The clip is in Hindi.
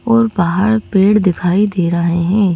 और बाहर पेड़ दिखाई दे रहा हैं।